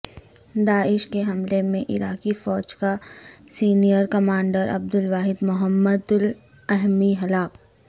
داعش کے حملے میں عراقی فوج کا سینئر کمانڈر عبد الواحد محمد اللامی ہلاک